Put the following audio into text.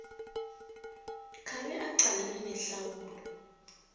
abe aqalane nehlawulo